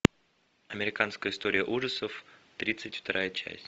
американская история ужасов тридцать вторая часть